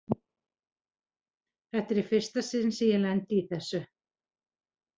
Þetta er í fyrsta sinn sem ég lendi í þessu.